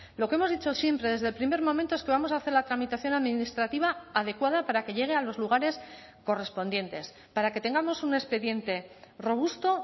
lo que hemos dicho siempre desde el primer momento es que vamos a hacer la tramitación administrativa adecuada para que llegue a los lugares correspondientes para que tengamos un expediente robusto